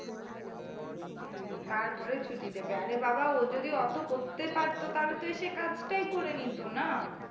তারপরে ছুটি দেবে, আরে বাবা ও যদি অতো করতে পারতো তাহলে তো এসে কাজটাই করে নিত না।